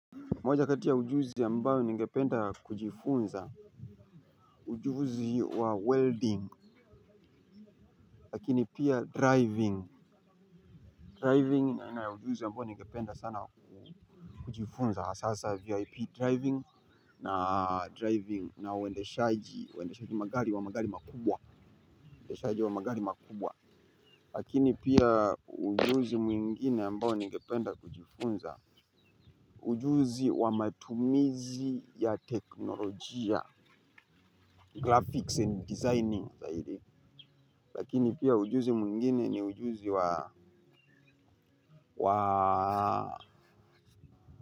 Moja kati ya ujuzi ambayo ningependa kujifunza. Ujuzi wa welding. Lakini pia driving Driving ni aina ya ujuzi ambayo ningependa sana kujifunza. Sasa vip driving na driving na uendeshaji uendeshaji wa magari wa magari makubwa. Lakini pia ujuzi mwingine ambayo ningependa kujifunza. Ujuzi wa matumizi ya teknolojia graphics amd designing lakini pia ujuzi mwingine ni ujuzi wa.